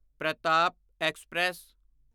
Pratap express